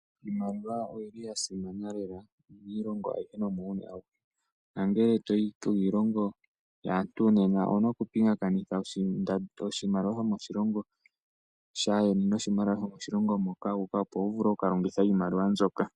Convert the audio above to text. Iimaliwa oyili yasimana lela miilongo ayihe nomuuyuni awuhe. Nangele toyi kiilongo yaantu nena owuna oku pingakanitha oshimaliwa shomoshilongo shayeni noshimaliwa shomoshilongo moka wu uka. Opowu vule okuka longitha iimaliwa mbyoka.